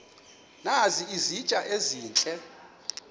nazi izitya ezihle